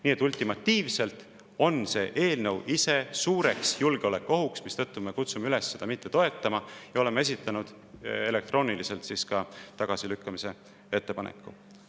Nii et ultimatiivselt on see eelnõu ise suur julgeolekuoht, mistõttu me kutsume üles seda mitte toetama ja oleme esitanud elektrooniliselt ka tagasilükkamise ettepaneku.